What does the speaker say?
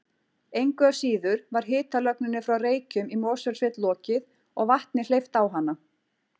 Engu að síður var hitalögninni frá Reykjum í Mosfellssveit lokið og vatni hleypt á hana